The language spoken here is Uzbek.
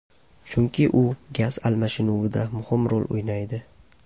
Chunki u gaz almashinuvida muhim rol o‘ynaydi.